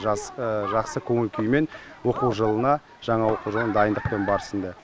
жас жақсы көңіл күймен оқу жылына жаңа оқу жылын дайындықпен барсын деп